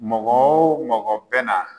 Mɔgɔ wo mɔgɔ bɛ na